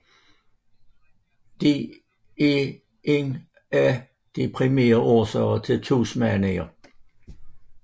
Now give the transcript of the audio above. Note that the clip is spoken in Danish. De er en af de primære årsager til tsunamier